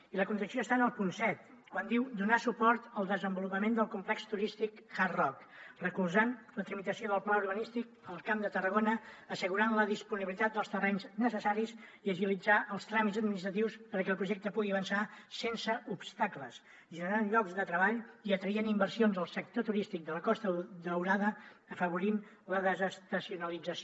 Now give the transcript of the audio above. i la contradicció està en el punt set quan diu donar suport al desenvolupament del complex turístic hard rock recolzant la tramitació del pla urbanístic al camp de tarragona assegurant la disponibilitat dels terrenys necessaris i agilitzar els tràmits administratius perquè el projecte pugui avançar sense obstacles generant llocs de treball i atraient inversions al sector turístic de la costa daurada afavorint la desestacionalització